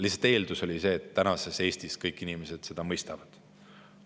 Lihtsalt eeldus oli see, et praeguses Eestis kõik inimesed seda mõistavad.